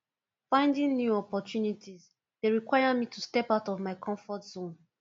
finding new opportunities dey require me to step out of my comfort zone